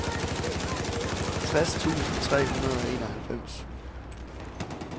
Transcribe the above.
tres tusind tre hundrede og enoghalvfems